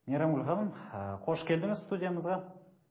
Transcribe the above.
мейрамгүл ханым ы қош келдіңіз студиямызға